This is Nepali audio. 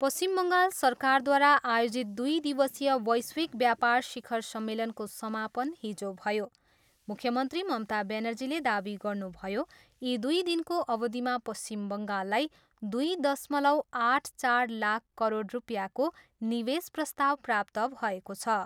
पश्चिम बङ्गाल सरकारद्वारा आयोजित दुइ दिवसीय वैश्विक व्यापार शिखर सम्मेलनको समापन हिजो भयो। मुख्यमन्त्री ममता ब्यानर्जीले दावी गर्नुभयो, यी दुई दिनको अवधिमा पश्चिम बङ्गाललाई दुई दशमलव आठ चार लाख करोड रुपियाँको निवेश प्रस्ताव प्राप्त भएको छ।